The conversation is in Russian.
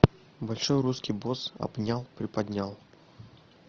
большой русский босс обнял приподнял